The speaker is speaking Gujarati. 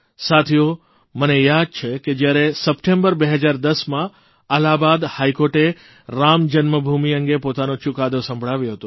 સાથીઓ મને યાદ છે કે જયારે સપ્ટેમ્બર 2010માં અલ્હાબાદ હાઇકોર્ટે રામજન્મભૂમિ અંગે પોતાનો ચૂકાદો સંભળાવ્યો હતો